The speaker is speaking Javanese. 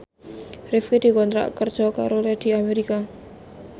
Rifqi dikontrak kerja karo Lady America